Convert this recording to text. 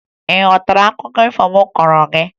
Ị ghọtara akụkọ ifo m kọọrọ gị?